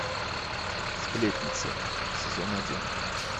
сплетница сезон один